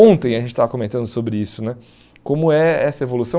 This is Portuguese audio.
Ontem a gente estava comentando sobre isso né, como é essa evolução.